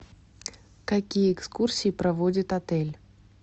какие экскурсии проводит отель